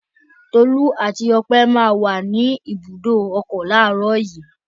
Tolú àti Ọpẹ́ máa wà ní ibùdó ọkọ̀ láàárọ̀ yìí.